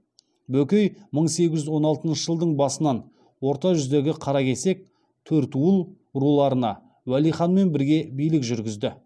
бөкей мың сегіз жүз он алтыншы жылдың басынан орта жүздегі қаракесек төртуыл руларына уәли ханмен бірге билік жүргізді